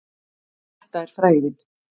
Þetta er frægðin.